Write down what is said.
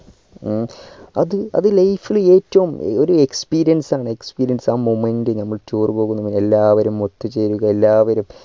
ഉം അത് അത് life ൽ ഏറ്റവും ഒരു experience ആണ് experience ആ moment നമ്മൾ tour പോകുന്നത് എല്ലാവരും ഒത്തു ചേരുക എല്ലാവരും